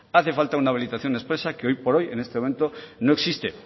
hace falta una habilitación expresa que hoy por hoy en este momento no existe